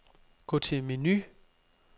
Gå til menu.